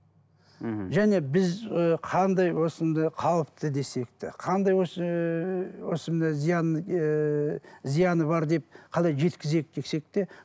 мхм және біз ы қандай осында қауіпті десек те қандай осы осы мына зияны ыыы зияны бар деп қалай жеткізейік десек те